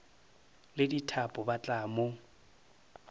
le dithapo ba tla mo